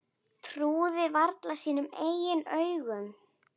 Trúði varla sínum eigin augum.